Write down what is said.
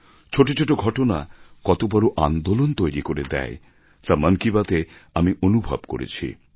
ছোটো ছোটো ঘটনা কত বড় আন্দোলন তৈরি করে দেয় তা মন কি বাত এ আমি অনুভব করেছি